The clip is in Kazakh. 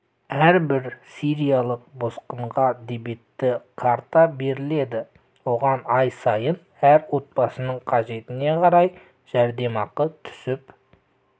әрбір сириялық босқынға дебетті карта беріледі оған ай сайын әр отбасының қажетіне қарай жәрдемақы түсіп